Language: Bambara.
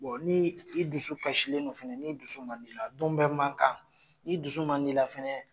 Bon ni i dusu kasilen fɛnɛ ni dusu man di la don bɛ mankan kan ni dusu man di la fɛnɛ